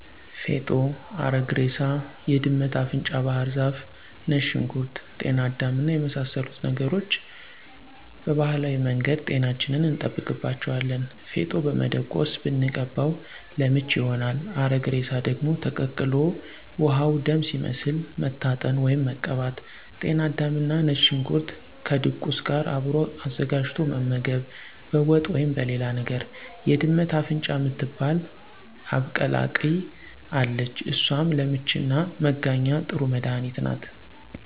ፌጦ፣ አረግ እሬሳ፣ የድመት አፍንጫ ባህር ዛፍ፣ ነጭ ሽንኩርት፣ ጤና አዳም እና የመሳሰሉት ነገሮች ቀባህላዊ መንገድ ጤናችንን እንጠብቅባቸዋለን። ፌጦ በመደቆስ ብንቀባው ለምች ይሆናል። አረግ እሬሳ ደግሞ ተቀቅሎ ውሀው ደም ሲመስል መታጠን ወይም መቀባት።። ጤና አዳምና ነጭ ሽንኩርት ከድቁስ ጋር አብሮ አዘጋጅቶ መመገብ በወጥ ወይም በሌላ ነገር። የድመት አፍንጫ ምትባል አብቀላቅይ አለች እሷም ለምችና መጋኛ ጥሩ መድኃኒት ናት።